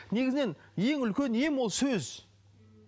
негізінен ең үлкен ем ол сөз